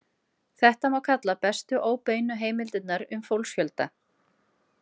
Þetta má kalla bestu óbeinu heimildirnar um fólksfjölda.